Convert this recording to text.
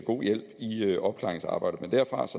god hjælp i opklaringsarbejdet men derfra